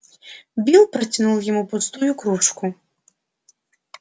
билл протянул ему пустую кружку